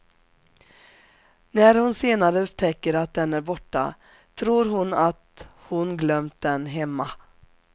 När hon senare upptäcker att den är borta tror hon att hon glömt den hemma.